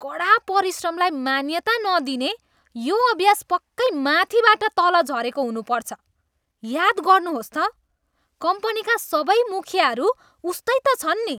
कडा परिश्रमलाई मान्यता नदिने यो अभ्यास पक्कै माथिबाट तल झरेको हुनुपर्छ। याद गर्नुहोस् त, कम्पनीका सबै मुखियाहरू उस्तै त छन् नि।